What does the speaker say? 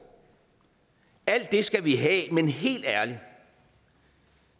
alt det skal vi have men helt ærligt